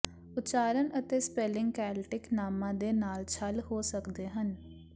ਉਚਾਰਨ ਅਤੇ spelling Celtic ਨਾਮਾਂ ਦੇ ਨਾਲ ਛਲ ਹੋ ਸਕਦੇ ਹਨ